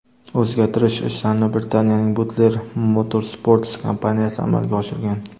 O‘zgartirish ishlarini Britaniyaning Butler Motorsports kompaniyasi amalga oshirgan.